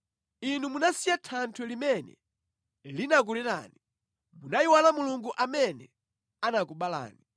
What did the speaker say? Inu munasiya Thanthwe limene linakulerani; munayiwala Mulungu amene anakubalani.